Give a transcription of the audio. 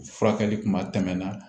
Furakɛli kuma tɛmɛn na